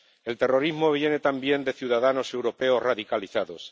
El terrorismo viene también de ciudadanos europeos radicalizados.